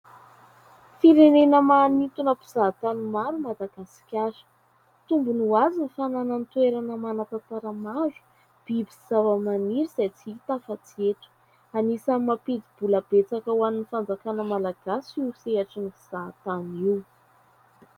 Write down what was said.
Firenena maintona mpizaha tany maro i Madagasikara. Tombony ho azy ny fananany toerana manan-tantara maro, biby sy zava-maniry izay tsy hita afa-tsy eto. Anisan'ny mampidi-bola betsaka ho an'ny fanjakana malagasy io sehatry ny fizahan-tany io.